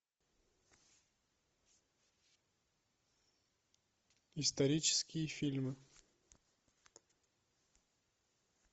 исторические фильмы